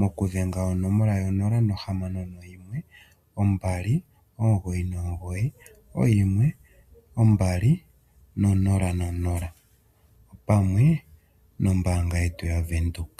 mokudhenga onomola yo 0612991200 pamwe noombanga yetu yaBank windhoek.